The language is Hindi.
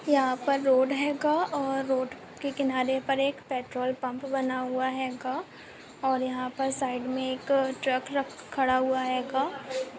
यहाँ पर रोड हेगा और रोड के किनारे पर एक पेट्रोल पम्प बना हुआ हेगा और यहाँ पर साइड में एक ट्रक रख खड़ा हुआ हेगा।